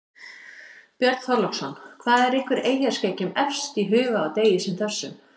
Björn Þorláksson: Hvað er ykkur eyjaskeggjum efst í huga á degi sem þessum?